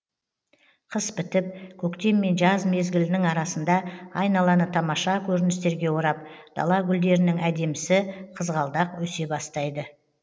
қыс бітіп көктем мен жаз мезгілінің арасында айналаны тамаша көріністерге орап дала гүлдерінің әдемісі қызғалдақ өсе бастайды